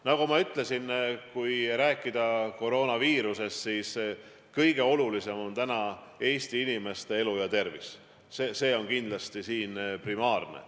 Nagu ma ütlesin, kui rääkida koroonaviirusest, siis kõige olulisem on Eesti inimeste elu ja tervis – see on kindlasti primaarne.